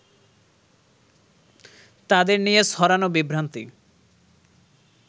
তাদের নিয়ে ছড়ানো বিভ্রান্তি